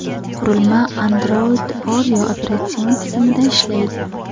Qurilma Android Oreo operatsion tizimida ishlaydi.